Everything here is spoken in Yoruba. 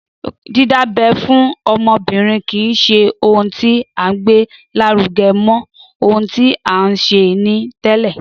Dídábẹ́ fún ọmọbìrin kìí ṣe ohun tí a gbé lárugẹ mọ, ohun tí a n ṣe ni tẹ́lẹ